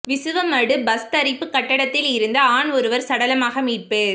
Visuvamadu bus தரிப்பு கட்டடத்தில் இருந்து ஆண் ஒருவர் சடலமாக மீட்பு